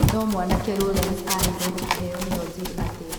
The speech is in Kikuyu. No mwanake Lawrence aheirwo kĩheyo nĩ ozil atĩa